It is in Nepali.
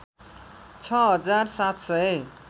६ हजार ७ सय